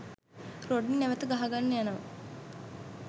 Rodney නැවත ගහගන්න යනවා.